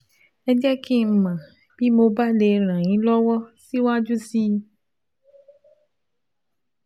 Ẹ jẹ́ kí n mọ̀ bí mo bá lè ràn yín lọ́wọ́ síwájú sí i